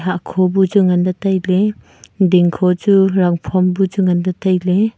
akho bu chu ngan ley tailey dingkho chu rangphom bu chu nganley tailey.